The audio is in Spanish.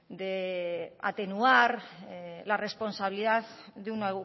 de atenuar la responsabilidad de un